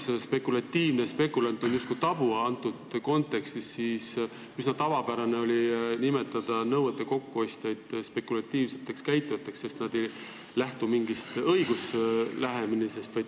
Sõnad "spekulatiivne" ja "spekulant" on praeguses kontekstis justkui tabu, aga üsna tavapärane on olnud nimetada nõuete kokkuostjaid spekulatiivselt käitujateks, sest nad ei lähtu mingist õiguslikust lähenemisest.